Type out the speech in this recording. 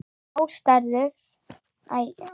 Ástæður til að gefast upp?